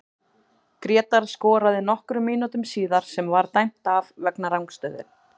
Grétar skoraði nokkrum mínútum síðar sem var dæmt af vegna rangstöðu.